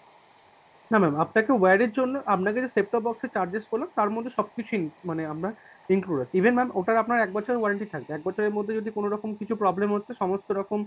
না না আপনাকে wire এর জন্য আপনাকে যে set top box এ charges গুলো তারমধ্যে সবকিছুই মানে আপনার included, even ma'am ওটার আপনার এক বছরের warranty থাকবে এক বছরের মধ্যে যদি কোন রকম কিছু problem হচ্ছে সমস্ত রকম